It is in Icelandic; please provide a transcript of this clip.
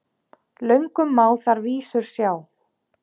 Löngum má þar vísur sjá.